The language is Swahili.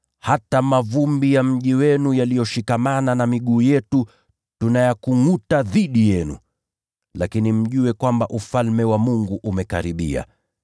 ‘Hata mavumbi ya mji wenu yaliyoshikamana na miguu yetu, tunayakungʼuta dhidi yenu. Lakini mjue kwamba Ufalme wa Mungu umekaribia.’